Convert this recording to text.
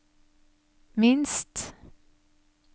minst